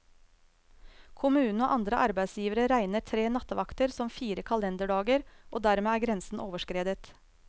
Kommunen og andre arbeidsgivere regner tre nattevakter som fire kalenderdager, og dermed er grensen overskredet.